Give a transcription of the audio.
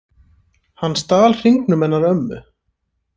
Hann stal hringnum hennar ömmu